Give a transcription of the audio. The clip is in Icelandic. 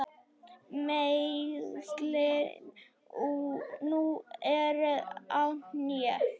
Meiðslin nú eru á hné.